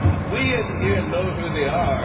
We in here know who they are.